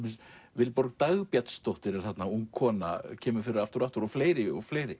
Vilborg Dagbjartsdóttir er þarna ung kona kemur fyrir aftur og aftur og fleiri og fleiri